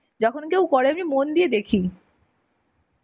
যখন কেউ করে আমি মন দিয়ে দেখি.